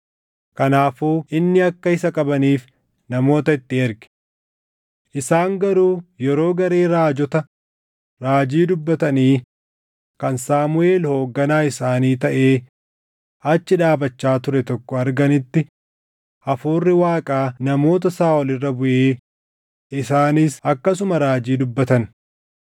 Kanaafuu inni akka isa qabaniif namoota itti erge. Isaan garuu yeroo garee raajota raajii dubbatanii kan Saamuʼeel hoogganaa isaanii taʼee achi dhaabachaa ture tokko arganitti Hafuurri Waaqaa namoota Saaʼol irra buʼee isaanis akkasuma raajii dubbatan.